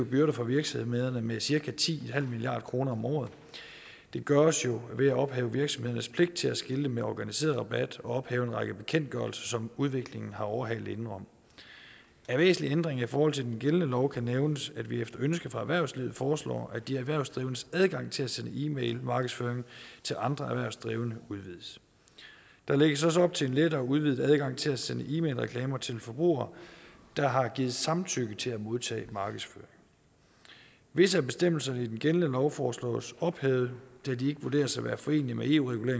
byrder for virksomhederne med cirka ti milliard kroner om året det gøres jo ved at ophæve virksomhedernes pligt til at skilte med organiseret rabat og ved at ophæve en række bekendtgørelser som udviklingen har overhalet indenom af væsentlige ændringer i forhold til den gældende lov kan nævnes at vi efter ønske fra erhvervslivet foreslår at de erhvervsdrivendes adgang til at sende e mailmarkedsføring til andre erhvervsdrivende udvides der lægges også op til en lettere udvidet adgang til at sende e mailreklamer til forbrugere der har givet samtykke til at modtage markedsføring visse af bestemmelserne i den gældende lov foreslås ophævet da de ikke vurderes at være forenelige med